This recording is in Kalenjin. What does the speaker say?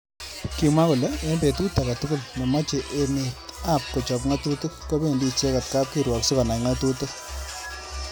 Kimwa kole eng betut age tugul nemoche emet ab kochop ngatutik kobendi icheget kap kirwok sikonai ngatutik.